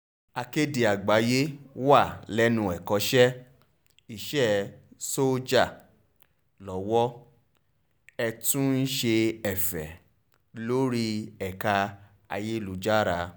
akéde àgbáyéé wà lẹ́nu ẹ̀kọ́ṣẹ́ iṣẹ́ sójà lowó ẹ̀ tún ń ṣe ẹ̀fẹ́ lórí ẹ̀ka ayélujára